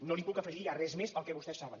no li puc afegir ja res més al que vostès saben